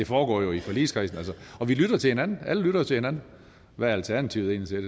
foregår jo i forligskredsen og vi lytter til hinanden alle lytter til hinanden hvad er alternativet egentlig